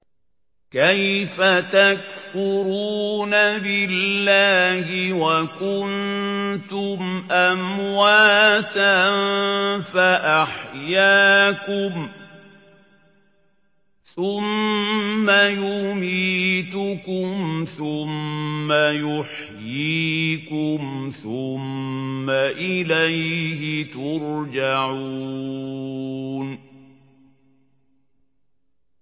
كَيْفَ تَكْفُرُونَ بِاللَّهِ وَكُنتُمْ أَمْوَاتًا فَأَحْيَاكُمْ ۖ ثُمَّ يُمِيتُكُمْ ثُمَّ يُحْيِيكُمْ ثُمَّ إِلَيْهِ تُرْجَعُونَ